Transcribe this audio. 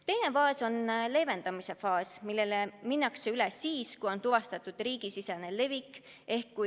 Teine faas on leevendamise faas, millele minnakse üle siis, kui on tuvastatud riigisisene levik.